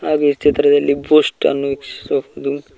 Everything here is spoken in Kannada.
ಈ ಚಿತ್ರದಲ್ಲಿ ಬೂಸ್ಟ್ ಅನ್ನು ವೀಕ್ಷಿಸಬಹುದು.